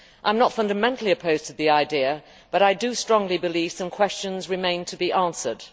I am not fundamentally opposed to the idea, but I strongly believe some questions remain to be answered.